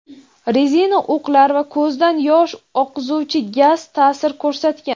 rezina o‘qlar va ko‘zdan yosh oqizuvchi gaz ta’sir ko‘rsatgan.